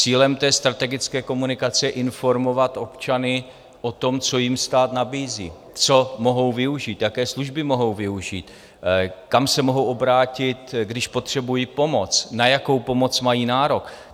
Cílem té strategické komunikace je informovat občany o tom, co jim stát nabízí, co mohou využít, jaké služby mohou využít, kam se mohou obrátit, když potřebují pomoc, na jakou pomoc mají nárok.